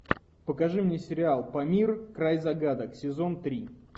покажи мне сериал памир край загадок сезон три